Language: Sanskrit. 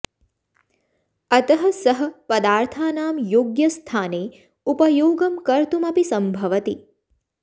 अतः सः पदार्थानां योग्यस्थाने उपयोगं कर्तुम् अपि सम्भवति